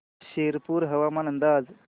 शिरपूर हवामान अंदाज